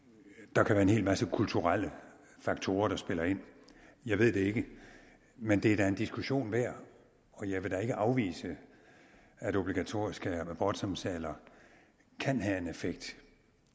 der kan være en hel masse kulturelle faktorer der spiller ind jeg ved det ikke men det er da en diskussion værd og jeg vil da ikke afvise at obligatoriske abortsamtaler kan have en effekt